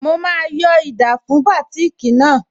Mo máa yọ́ ida fún bátìkì náà